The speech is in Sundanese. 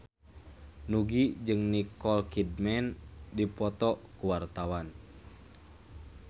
Nugie jeung Nicole Kidman keur dipoto ku wartawan